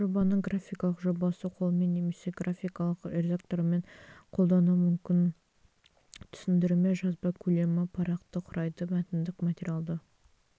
жобаның графикалық жобасы қолмен немесе графикалық редакторымен қолданылу мүмкін түсіндірме жазба көлемі парақты құрайды мәтіндік материалды